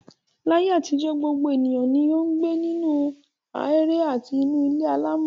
Láyé àtijọ́, gbogbo ènìyàn ni ó ń gbé nínú aheéré àti nínú ilé alámọ̀.